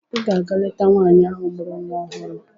Ị ga-aga leta nwaanyị ahụ mụrụ nwa ọhụrụ!